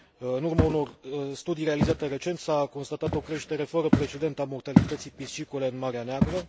În urma unor studii realizate recent s a constatat o creștere fără precedent a mortalității piscicole în Marea Neagră.